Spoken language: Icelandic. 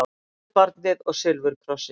Huldubarnið og silfurkrossinn